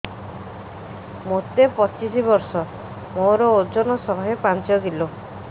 ମୋତେ ପଚିଶି ବର୍ଷ ମୋର ଓଜନ ଶହେ ପାଞ୍ଚ କିଲୋ